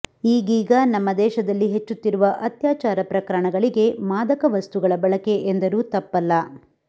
ಈಗೀಗ ನಮ್ಮ ದೇಶದಲ್ಲಿ ಹೆಚ್ಚುತ್ತಿರುವ ಅತ್ಯಾಚಾರ ಪ್ರಕರಣಗಳಿಗೆ ಮಾದಕ ವಸ್ತುಗಳ ಬಳಕೆ ಎಂದರೂ ತಪ್ಪಲ್ಲ